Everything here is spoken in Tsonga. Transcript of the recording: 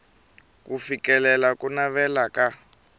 ku fikelela ku navela ka